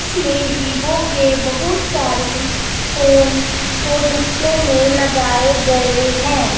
इसमें वीवो के बहुत सारी फोन को डिस्प्ले में लगाए गए हैं।